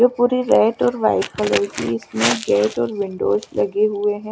वो रेड और white colour कि इसमें गेट और विंडोज लगे हुए है।